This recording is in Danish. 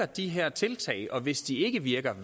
de her tiltag virker og hvis de ikke virker